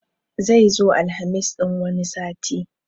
Zai zo Alhamis ɗin wani sati